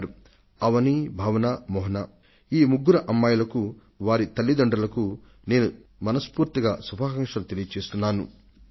ఈ ముగ్గురు అమ్మాయిలు అవని భావన మోహన లకు వారి తల్లితండ్రులకు కూడా నేను హృదయపూర్వకంగా శుభాకాంక్షలను అందజేస్తున్నాను